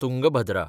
Tungabhadra